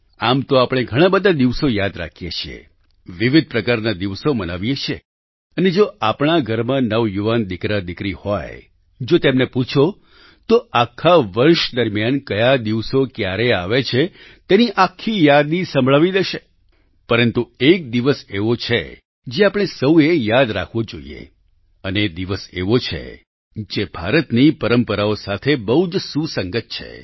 આમ તો આપણે ઘણાં બધા દિવસો યાદ રાખીએ છીએ વિવિધ પ્રકારના દિવસો મનાવીએ છીએ અને જો આપણા ઘરમાં નવયુવાન દિકરાદિકરી હોય જો તેમને પૂછો તો આખા વર્ષ દરમિયાન કયા દિવસો ક્યારે આવે છે તેની આખી યાદી સંભળાવી દેશે પરંતુ એક દિવસ એવો છે જે આપણે સહુ એ યાદ રાખવો જોઈએ અને એ દિવસ એવો છે જે ભારતની પરંપરાઓ સાથે બહુ જ સુસંગત છે